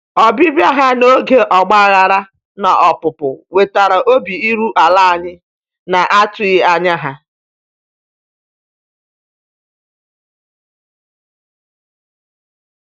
Ọbịbịa ha n'oge ọgbaghara na opupu wetara obi iru ala anyị na-atụghị anya ya.